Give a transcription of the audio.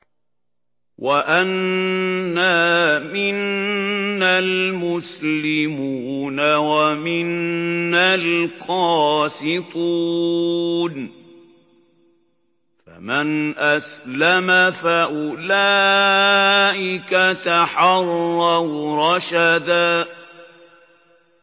وَأَنَّا مِنَّا الْمُسْلِمُونَ وَمِنَّا الْقَاسِطُونَ ۖ فَمَنْ أَسْلَمَ فَأُولَٰئِكَ تَحَرَّوْا رَشَدًا